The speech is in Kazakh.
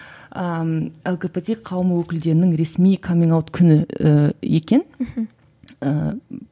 ыыы лгбт қауым өкілдерінің ресми каминг аут күні і екен мхм ііі